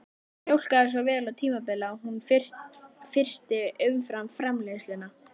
Hún mjólkaði svo vel á tímabili að hún frysti umfram-framleiðsluna